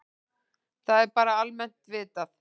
Það er bara almennt vitað.